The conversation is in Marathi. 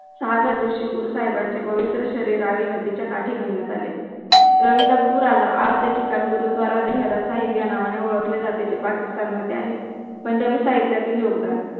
सहाव्या दिवशी गुरु साहिबांची पवित्र शरीर रावी नदी च्या काठी नेण्यात आले. रवि ला पूर आला आज त्याची टंग गुरुद्वारा देहेरा साहिब या नावाने ओळखले जाते ते पाकिस्तान मध्ये आहे पंजाबी साहित्यातील योगदान